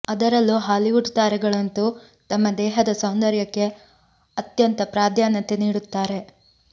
ಅದರಲ್ಲೂ ಹಾಲಿವುಡ್ ತಾರೆಗಳಂತೂ ತಮ್ಮ ದೇಹದ ಸೌಂದರ್ಯಕ್ಕೆ ಅತ್ಯಂತ ಪ್ರಾಧಾನ್ಯತೆ ನೀಡುತ್ತಾರೆ